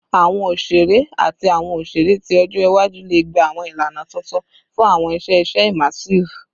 Awọn oṣere ati awọn oṣere ti ọjọ iwaju le gba awọn ilana tuntun fun awọn iṣẹ iṣe immersive